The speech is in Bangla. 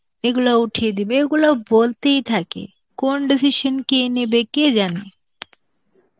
এইগুলো উঠিয়ে দিবে, এইগুলো বলতেই থাকে, কোন decision কে নেবে কে জানে?